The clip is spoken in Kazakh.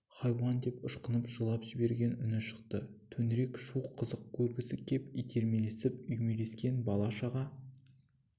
хайуан деп ышқынып жылап жіберген үні шықты төңірек шу қызық көргісі кеп итермелесіп үймелескен бала-шаға